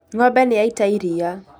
Ng'ombe nĩyaita iria